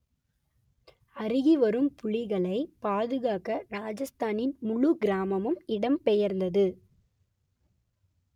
அருகி வரும் புலிகளைப் பாதுகாக்க ராஜஸ்தானின் முழுக் கிராமமும் இடம்பெயர்ந்தது